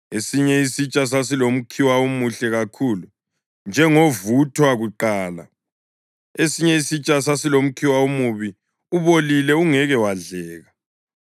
Esinye isitsha sasilomkhiwa omuhle kakhulu, njengovuthwa kuqala; esinye isitsha sasilomkhiwa omubi, ubolile ungeke wadleka.